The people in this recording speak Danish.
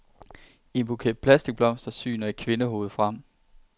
I en buket plastikblomster syner et kvindehoved frem.